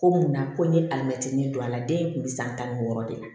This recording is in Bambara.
Ko munna ko n ye alimɛtinin don a la den in kun bɛ san tan ni wɔɔrɔ de ye